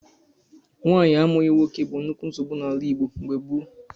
Nwaanyị amụghị nwoke bụ nnukwu nsogbu n'ala Igbo mgbe gboo.